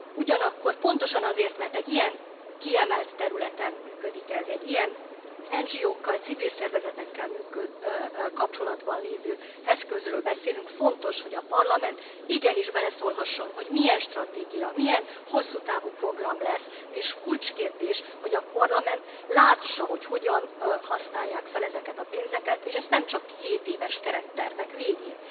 Ugyanakkor, pontosan azért, mert egy ilyen kiemelt területen működik ez, egy ilyen NGO kal, civil szervezetekkel kapcsolatban lévő eszközről beszélünk, fontos, hogy a Parlament igenis beleszólhasson, hogy milyen stratégia, milyen hosszútávú program lesz, és kulcskérdés, hogy a Parlament lássa, hogy hogyan használják fel ezeket a pénzeket, és ezt nem csak hétéves kerettervek végén.